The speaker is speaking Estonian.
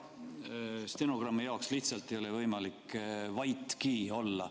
Ütlen stenogrammi jaoks, mul lihtsalt ei ole võimalik vaiki olla.